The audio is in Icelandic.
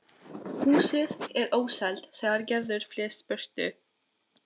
Húsið er óselt þegar Gerður flyst burtu